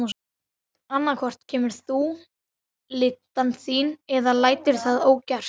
Við eigum erindi við Danina, svaraði Ólafur Tómasson.